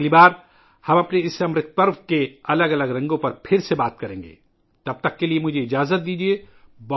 اگلی بار، ہم اپنے اس امرت کے تہوار کے مختلف رنگوں کے بارے میں دوبارہ بات کریں گے، تب تک مجھے اجازت دیں